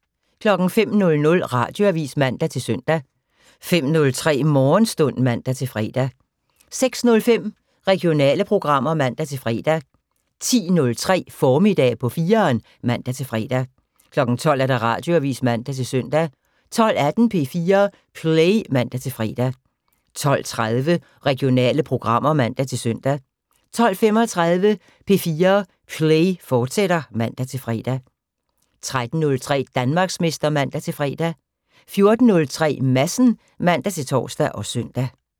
05:00: Radioavis (man-søn) 05:03: Morgenstund (man-fre) 06:05: Regionale programmer (man-fre) 10:03: Formiddag på 4'eren (man-fre) 12:00: Radioavis (man-søn) 12:18: P4 Play (man-fre) 12:30: Regionale programmer (man-søn) 12:35: P4 Play, fortsat (man-fre) 13:03: Danmarksmester (man-fre) 14:03: Madsen (man-tor og søn)